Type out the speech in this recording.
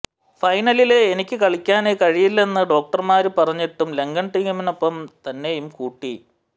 ഫൈനലില് എനിക്കു കളിക്കാന് കഴിയില്ലെന്നു ഡോക്ടര്മാര് പറഞ്ഞിട്ടും ലങ്കന് ടീമിനൊപ്പം തന്നെയും കൂട്ടി